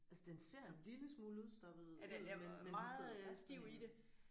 Altså den ser en lille smule udstoppet ud men men den sidder fast i hendes